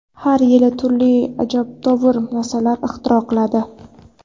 Har yili turli ajabtovur narslar ixtiro qiladi.